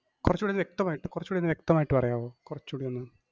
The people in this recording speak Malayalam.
കൊറച്ചൂടി ഒന്ന് വ്യക്തമായിട്ടു, കൊറച്ചൂടി ഒന്ന് വ്യക്തമായിട്ട് പറയാമോ, കൊറച്ചൂടി ഒന്ന്